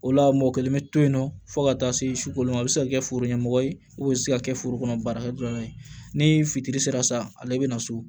O la mɔgɔ kelen be to yen nɔ fo ka taa se sukolon ma a be se ka kɛ foro ɲɛmɔgɔ ye u bɛ se ka kɛ foro kɔnɔ baarakɛ dɔnnen ye ni fitiri sera sa ale be na so